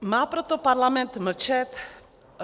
Má proto parlament mlčet?